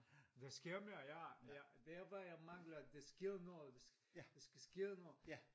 Der sker mere ja det er bare jeg mangler dersker noget der skal ske noget